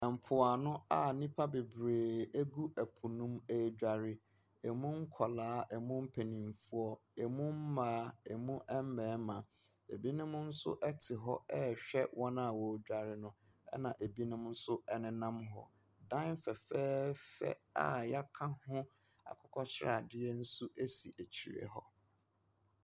Ɛmpo ano a nnipa bebree egu ɛpo mu edware. Emu nkɔla, emu mpanyinfoɔ. Emu mmaa, emu mmɛrima. Ebinom nso ɛte hɔ ɛhwɛ wɔn a wodware no. Ɛna ebinom nso ɛnenam hɔ. Dan fɛfɛɛfɛ a yɛaka ho akokɔsradeɛ ɛnso si akyire hɔ.